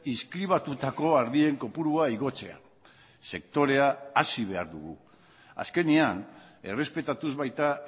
inskribatutako ardien kopurua igotzea sektorea hazi behar dugu azkenean errespetatuz baita